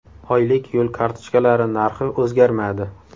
Oylik yo‘l kartochkalari narxi o‘zgarmadi.